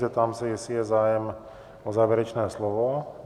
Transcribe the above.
Zeptám se, jestli je zájem o závěrečné slovo?